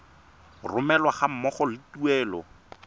romelwa ga mmogo le tuelo